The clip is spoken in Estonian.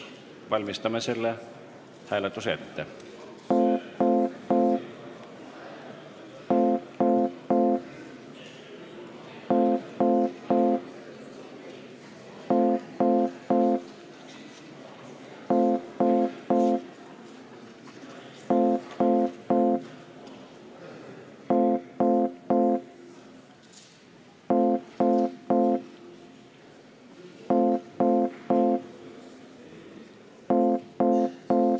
Valmistame selle hääletuse ette.